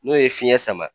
N'o ye fiɲɛ sama